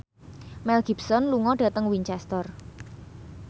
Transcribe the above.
Mel Gibson lunga dhateng Winchester